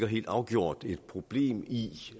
helt afgjort et problem i